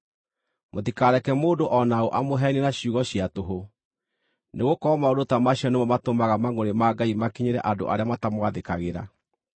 Mũtikareke mũndũ o na ũ amũheenie na ciugo cia tũhũ, nĩgũkorwo maũndũ ta macio nĩmo matũmaga mangʼũrĩ ma Ngai makinyĩre andũ arĩa matamwathĩkagĩra.